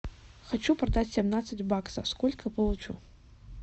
хочу продать семнадцать баксов сколько получу